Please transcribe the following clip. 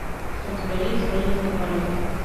у тебя есть змеиный полет